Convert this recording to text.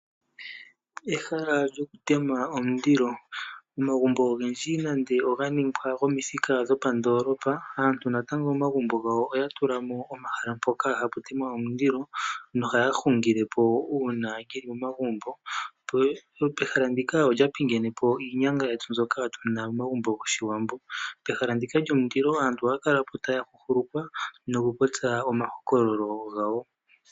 Ehala lyokutema omulilo . Omagumbo ogendji nande oganingwa gwomithika dho pandoolopa , aantu natango momagumbo gawo oya tulamo omahala mpoka hapu temwa omulilo no haya hungile po uuna yeli momagumbo nopehala ndika olya pingenepo iinyanga yetu mbyoka tuna momagumbo goshiwambo . Pehala ndika lyo mulilo aantu ohaya kalapo taya huhulukwa nokupopya omahokololo gawo.